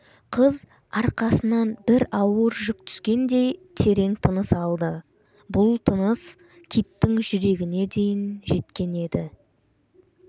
қыз арқасынан бір ауыр жүк түскендей терең тыныс алды бұл тыныс киттің жүрегіне дейін жеткен еді